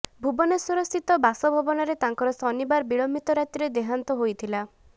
ଭୁବନେଶ୍ୱରସ୍ଥିତ ବାସଭବନରେ ତାଙ୍କର ଶନିବାର ବିଳମ୍ବିତ ରାତିରେ ଦେହାନ୍ତ ହୋଇଥିଲା